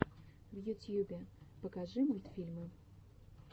в ютьюбе покажи мультфильмы